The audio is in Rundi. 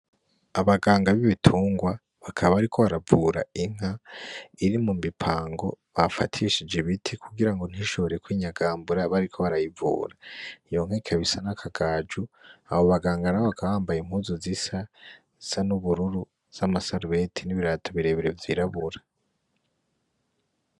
Abanganga b'ibitungwa, bakaba bariko baravura inka iri mumipango bafatishije ibiti kugira ntishobore kwinyagambura bariko barayivura, iyo nka ikaba isa nkakagaju, abo baganga bakaba bambaye impuzu zisa n'ubururu zamasarubeti n'ibirato birebire vy'irabura.